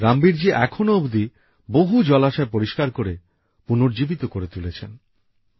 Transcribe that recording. রাম বীর জি এখনো অবধি বহু জলাশয় পরিষ্কার করে পুনর্জীবিত করে তুলেছেন